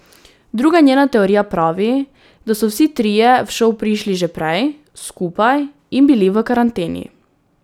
Druga njena teorija pravi, da so vsi trije v šov prišli že prej, skupaj, in bili v karanteni.